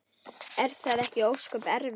Er það ekki ósköp erfitt?